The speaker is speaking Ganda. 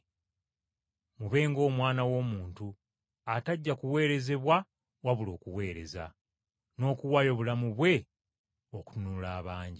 Mube nga Omwana w’Omuntu atajja kuweerezebwa wabula okuweereza, n’okuwaayo obulamu bwe ng’omutango okununula abangi.”